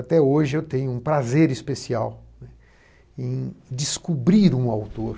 Até hoje, eu tenho um prazer especial em descobrir um autor.